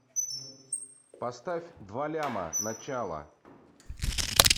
поставь два ляма начало